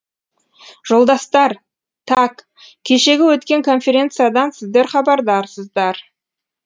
жолдастар так кешегі өткен конференциядан сіздер хабардарсыздар